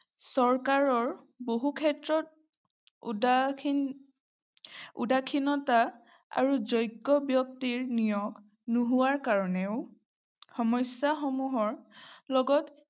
চৰকাৰৰ বহুক্ষেত্ৰত উদাসীন উদাসীনতা আৰু যোগ্য ব্যক্তিৰ নিয়োগ নোহোৱাৰ কাৰণেও সমস্যাসমূহৰ লগত